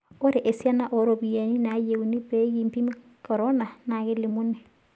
Ore esiana oo ropiyiani naayienu pee kimpimi korona naa kelimuni.